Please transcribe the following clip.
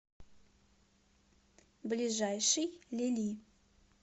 ближайший лили